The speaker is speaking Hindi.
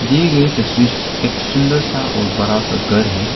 दिए गए तस्वीर एक सुंदर सा और बरा सा घर है।